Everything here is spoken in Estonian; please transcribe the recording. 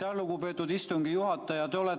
Aitäh, lugupeetud istungi juhataja!